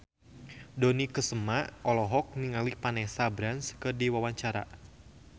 Dony Kesuma olohok ningali Vanessa Branch keur diwawancara